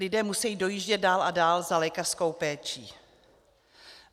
Lidé musejí dojíždět dál a dál za lékařskou péčí.